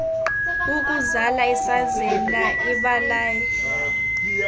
ukuzala isazela ibalai